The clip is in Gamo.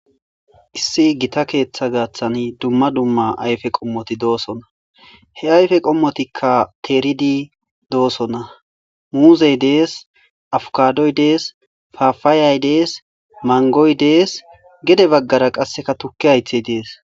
issi gita keeththa gaaththan dumma dumma ayfe qommoti doosona he ayfe qommotikka keeridi doosona muuzey dees afukadoy dees fafaayay dees mangoy dees gede baggara qasseka tukki haythey dees